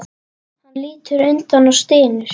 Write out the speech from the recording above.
Hann lítur undan og stynur.